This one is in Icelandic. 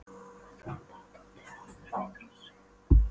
Þetta var bara sami Tóti og áður, feitur og stríðinn.